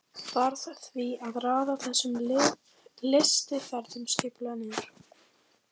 Varð því að raða þessum lystiferðum skipulega niður.